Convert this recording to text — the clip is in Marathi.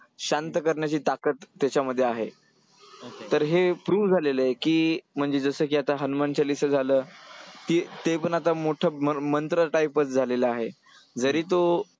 शांत करण्याची ताकद त्याच्यामध्ये आहे. तर हे prove झालेलं आहे की, म्हणजे जसं की आता हनुमानचालीसा झालं ते पण आता मोठं मंत्र type च झालेलं आहे. जरी तो